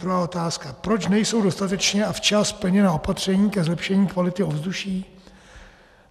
Druhá otázka: Proč nejsou dostatečně a včas plněna opatření ke zlepšení kvality ovzduší?